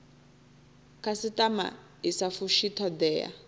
khasitama i sa fushi thodea